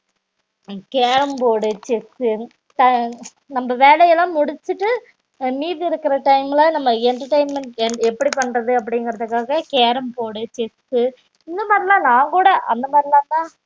carrom board டு chess ட நம்ம வேலைலாம் முடிச்சிட்டு மீதி இருக்குற time ல நம்ம entertainment எப்படி பண்றது அப்டிங்குரத்துக்காக carrom board டு chess இந்த மாறிலான் நா கூட அந்த மாறிலாதான்